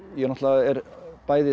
náttúrulega er bæði